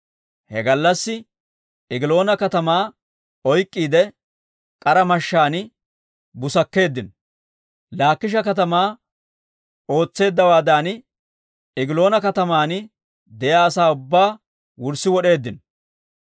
He gallassi Egiloona katamaa oyk'k'iide k'ara mashshaan busakkeeddino. Laakisha katamaa ootseeddawaadan, Egiloona kataman de'iyaa asaa ubbaa wurssi wod'eeddino.